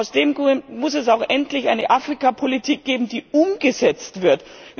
Aus dem Grund muss es zweitens auch endlich eine Afrikapolitik geben, die umgesetzt wird.